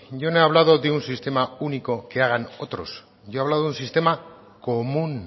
yo no he hablado de un sistema único que hagan otros yo he hablado de un sistema común